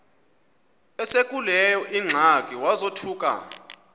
esekuleyo ingxaki wazothuka